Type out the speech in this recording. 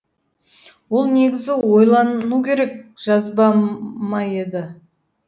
ол негізі ойлану керек жазба ма еді